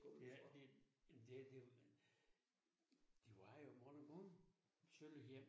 Det er det men det der det var jo i bund og grund sølle hjem